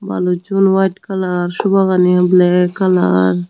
balucchun white colour sofa ganiyo black color.